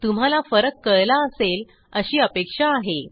तुम्हाला फरक कळला असेल अशी अपेक्षा आहे